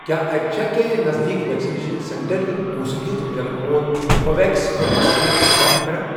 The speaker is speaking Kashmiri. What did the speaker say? کیٛاہ اتہِ چھا کینٛہہ نزدیٖک ویکسِنیشن سینٹر یِم پونٛسہٕ دِتھ میلن وول ۔ کو ویٚکسیٖن وکسیٖن چھِ فراہم کران؟